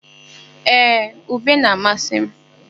Ee, ube na-amasị m.